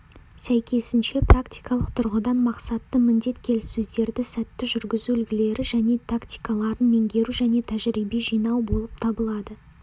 сәйкесінше практикалық тұрғыдан мақсатты міндет келіссөздерді сәтті жүргізу үлгілері және тактикаларын меңгеру және тәжірибе жинау болып табылады